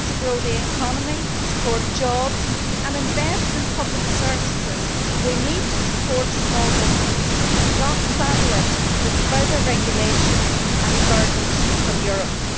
In order to grow the economy, support jobs and invest in public services, we need to support small business, not to saddle it with further regulation and burdens from Europe.